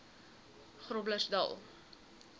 groblersdal